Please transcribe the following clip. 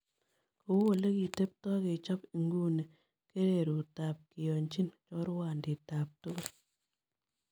Kou ole kiteptoi kechop inguni Kereeruutap kiyoonjin choorwaantiitap tugul